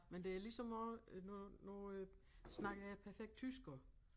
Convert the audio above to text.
Men det er ligesom om øh nu nu øh snakker jeg perfekt tysk også